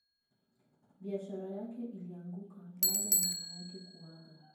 biashara yake ilianguka baada ya mama yake kuaga